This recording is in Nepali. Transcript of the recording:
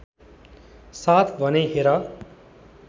साथ भनेँ हेर